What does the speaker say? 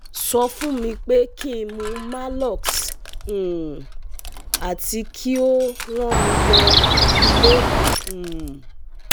So fun mi pe kin mu Malox um ati ki o rán mi lo ile um